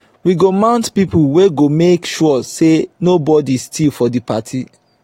we go mount pipo wey go make sure sey nobodi steal for di party.